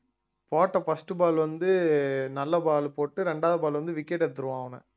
போட்ட first ball வந்து நல்ல ball போட்டு ரெண்டாவது ball வந்து wicket எடுத்திருவான் அவன